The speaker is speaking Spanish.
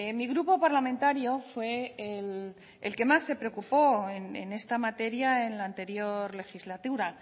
mi grupo parlamentario fue el que más se preocupó en esta materia en la anterior legislatura